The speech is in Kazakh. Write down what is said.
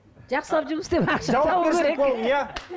жақсылап жұмыс істеп ақша табуы керек иә